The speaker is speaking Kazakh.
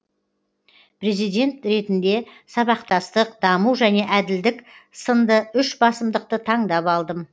президент ретінде сабақтастық даму және әділдік сынды үш басымдықты таңдап алдым